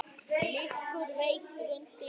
Liggur veikur undir teppi.